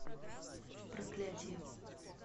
проклятие